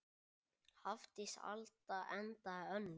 Hafdís Alda endaði önnur.